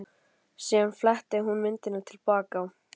Síðan fletti hún myndunum til baka.